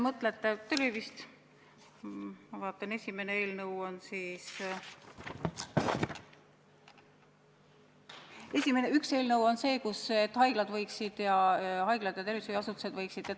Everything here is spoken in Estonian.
Ma vaatan, et üks eelnõu on see, et haiglad ja tervishoiuasutused võiksid ...